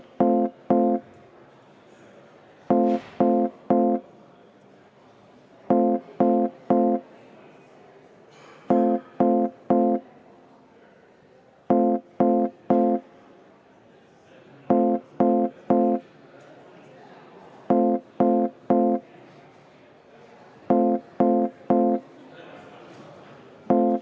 Austatud kolleegid, panen lõpphääletusele Riigikogu avalduse "Demokraatia ja kodanikuühiskonna toetuseks Valgevenes" eelnõu 223.